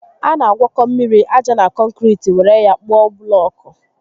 A na agwọkọ mmiri, aja na kọnkiriti were ya kpụọ bụlọọkụ